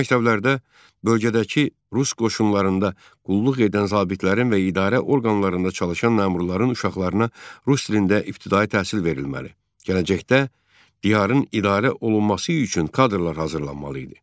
Belə məktəblərdə bölgədəki rus qoşunlarında qulluq edən zabitlərin və idarə orqanlarında çalışan məmurların uşaqlarına rus dilində ibtidai təhsil verilməli, gələcəkdə diyarın idarə olunması üçün kadrlar hazırlanmalı idi.